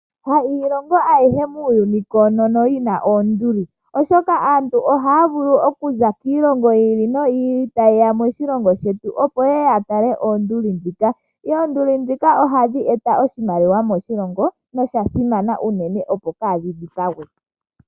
Ha iilongo ayihe muuyuni koonono yi na oonduli, oshoka aantu ohaya vulu okuza kiilongo yi ili noyi ili taye ya moshilongo shetu, opo ye ye ya tale oonduli ndhika. Oonduli ohadhi eta oshimaliwa moshilongo nosha simana unene, opo kaadhi dhipagwe.